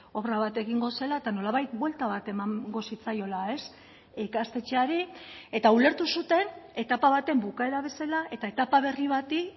obra bat egingo zela eta nolabait buelta bat emango zitzaiola ikastetxeari eta ulertu zuten etapa baten bukaera bezala eta etapa berri bati